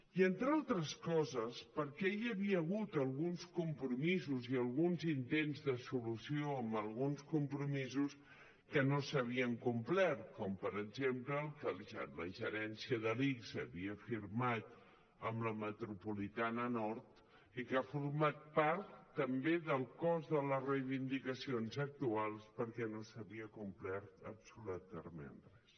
i entre altres coses perquè hi havia hagut alguns compromisos i alguns intents de solució amb alguns compromisos que no s’havien complert com per exemple que la gerència de l’ics havia firmat amb la metropolitana nord i que ha format part també del cos de les reivindicacions actuals perquè no s’havia complert absolutament res